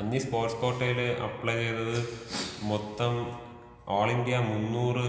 അന്നീ sports കോട്ടയില് apply ചെയ്തത് മൊത്തം ഓൾ ഇന്ത്യ മുന്നൂറ്